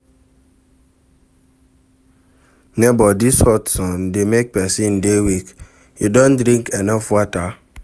Nebor, dis hot sun dey make pesin dey weak, you don drink enough water?